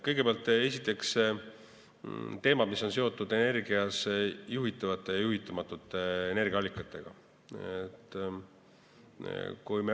Kõigepealt, esiteks teemad, mis on seotud juhitavate ja juhitamatute energiaallikatega.